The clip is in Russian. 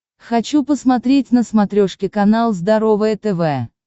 хочу посмотреть на смотрешке канал здоровое тв